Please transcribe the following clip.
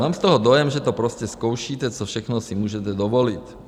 Mám z toho dojem, že to prostě zkoušíte, co všechno si můžete dovolit.